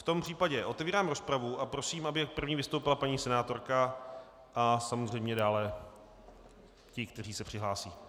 V tom případě otevírám rozpravu a prosím, aby první vystoupila paní senátorka a samozřejmě dále ti, kteří se přihlásí.